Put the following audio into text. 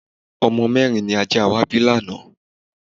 Ọmọ mẹ́rin ni ajá wa bí lánàá.